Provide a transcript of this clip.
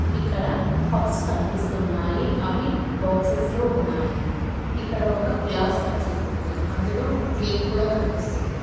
ఇక్కడ పఫ్స్ కనిపిస్తున్నాయి అవి బాక్సస్ లో ఉన్నాయి ఇక్కడ ఒక గ్లాస్ కనిపిస్తుంది అందులో ఒక కేక్ కూడా కనిపిస్తుంది.